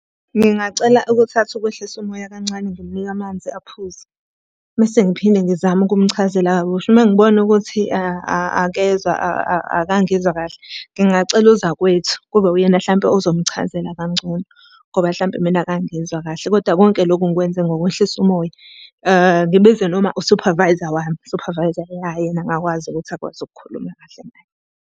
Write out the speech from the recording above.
Ngingacela ukuthatha ukwehlisa umoya kancane ngimunike amanzi aphuze, mese ngiphinde ngizame ukumchazela kabusha. Uma ngibona ukuthi akezwa akangizwa kahle, ngingacela uzakwethu kube uyena hlampe ozomchazela kangcono ngoba hlampe mina akangizwa kahle. Kodwa konke lokhu ngikwenze ngokwehlisa umoya. Ngibize noma usuphavayza wami, suphavayza ya yena angakwazi ukuthi akwazi ukukhuluma kahle naye.